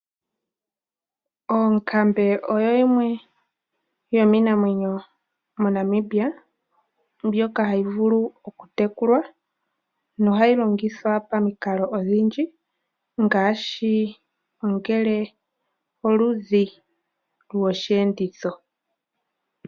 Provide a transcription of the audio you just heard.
Oonkambe oyo yimwe yomiinamwenyo moNamibia mbyoka hayi vulu oku tekulwa nohayi longithwa pamikalo odhindji ngaashi ngele oludhi lwosheenditho.